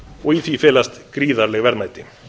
og í því felast gríðarleg verðmæti